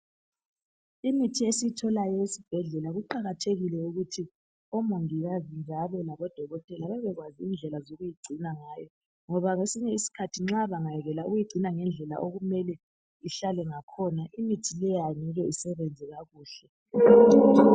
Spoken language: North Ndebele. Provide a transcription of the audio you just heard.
Imithi esiyitholayo esibhedlela kuqakathekile ukuthi omongikazi njalo labodokotela babekwazi indlela zokuyigcina ngayo ngoba kwesinye isikhathi nxa bangayekela ukuyigcina ngendlela okumele ihlale ngakhona imithi leyo angeke isebenze kakuhle.